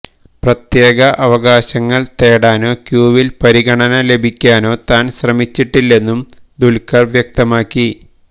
പ്രത്യേക അവകാശങ്ങള് തേടാനോ ക്യൂവില് പരിഗണന ലഭിക്കാനോ താന് ശ്രമിച്ചിട്ടില്ലെന്നും ദുല്ഖര് വ്യക്തമാക്കി